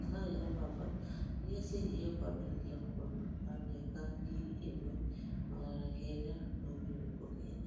macani, na mbamba rĩrĩa cianyihagio kwambĩrĩria mwambio wa mĩaka ya ngiri ĩmwe magana kenda ma mĩrongo kenda.